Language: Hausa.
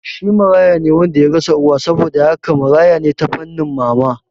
Shi marayane wanda yarasa uwa, saboda haka marayane ta fannin mama